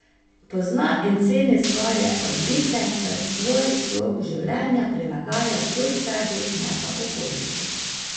Pozna in ceni svoje odlike ter svoj slog življenja prilagaja zgolj sebi, ne pa okolici.